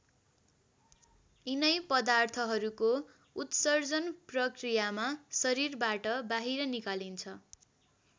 यिनै पदार्थहरूको उत्सर्जन प्रक्रियामा शरीरबाट बाहिर निकालिन्छ।